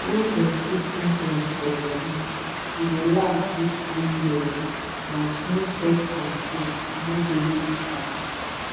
once dem fix implant for body e dey last reach three years na smooth birth control no daily waka